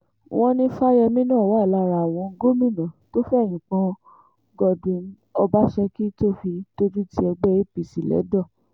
wọ́n ní fáyẹ́mì náà wà lára àwọn gómìnà tó fẹ̀yìn pọ́n godwin ọbaṣẹ́kí tó fi dojútì ẹgbẹ́ apc lẹ́dọ̀